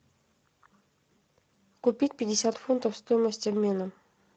купить пятьдесят фунтов стоимость обмена